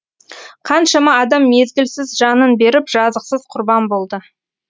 қаншама адам мезгілсіз жанын беріп жазықсыз құрбан болды